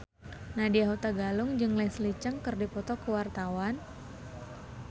Nadya Hutagalung jeung Leslie Cheung keur dipoto ku wartawan